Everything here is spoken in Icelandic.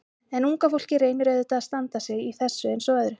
En unga fólkið reynir auðvitað að standa sig í þessu eins og öðru.